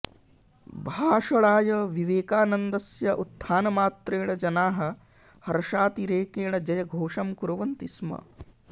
भाषणाय विवेकानन्दस्य उत्थानमात्रेण जनाः हर्षातिरेकेण जयघोषं कुर्वन्ति स्म